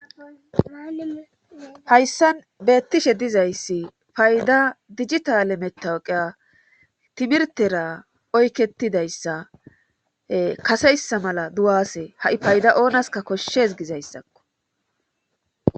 hayssan beettishe dizayssi payda digitale metawoqea timirtera oyketidayssa kaseyssa mala duwase ha7i payda oonaska koshshes gizayssakko